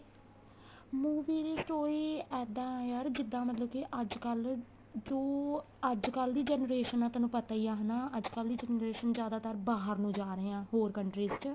movie ਦੀ story ਇੱਦਾਂ ਆ ਯਾਰ ਜਿੱਦਾਂ ਮਤਲਬ ਕੀ ਅੱਜਕਲ ਜੋ ਅੱਜਕਲ ਦੀ generation ਆ ਤੈਨੂੰ ਪਤਾ ਈ ਏ ਹਨਾ ਅੱਜਕਲ ਦੀ generation ਜਿਆਦਾ ਤਰ ਬਾਹਰ ਨੂੰ ਜਾ ਰਹੇ ਆ ਹੋਰ country ਚ